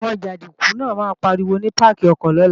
Àwọn jàndúkú náà máa pariwo ní páàkì ọkọ̀ lọ́la